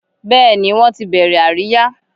Bẹ́ẹ̀ ni, wọ́n ti bẹ̀rẹ̀ àríyá